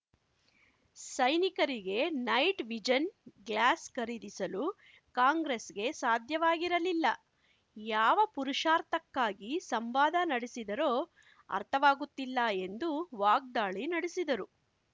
ಸೈನಿಕರಿಗೆ night vision glass ಖರೀದಿಸಲು ಕಾಂಗ್ರೆಸ್‌ಗೆ ಸಾಧ್ಯವಾಗಿರಲಿಲ್ಲ ಯಾವ ಪುರುಷಾರ್ಥಕ್ಕಾಗಿ ಸಂವಾದ ನಡೆಸಿದರೋ ಅರ್ಥವಾಗುತ್ತಿಲ್ಲ ಎಂದು ವಾಗ್ದಾಳಿ ನಡೆಸಿದರು